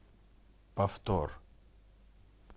повтор